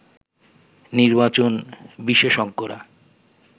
নির্বাচন বিশেষজ্ঞরা